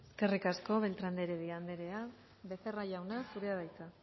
eskerrik asko beltran de heredia andrea becerra jauna zurea da hitza